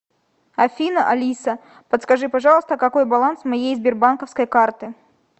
афина алиса подскажи пожалуйста какой баланс моей сбербанковской карты